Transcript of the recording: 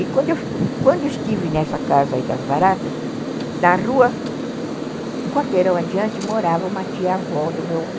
E quando quando eu estive nessa casa das Baratas, na rua, um quarteirão adiante, morava uma tia-avó do meu